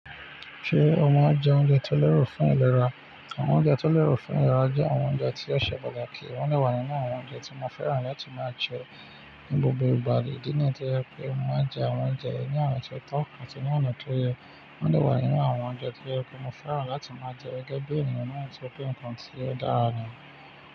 Ṣé o máa ń jẹ oúnjẹ tó lẹ́rù fún ìlera? Àwọn oúnjẹ tó lẹ́ro fún ìlera jẹ́ àwọn oúnjẹ tí ó ṣe pàtàkì. Wọ́n de wà nínú àwọn oúnjẹ tí mo fẹ́ràn láti máa jẹ ní gbogbo ìgbà. Idí iná tí o je pé mo máa jẹ àwọn oúnjẹ yìí ni ona tí ó tọ́ ati ní ọ̀nà ti ó yẹ. Wọ́n de wà nínú àwọn oúnjẹ tí ó je pé mo fẹ́ràn láti máa jẹ gẹ́gẹ́ bí ènìyàn náà tori pé nǹkan tí ò dára nì.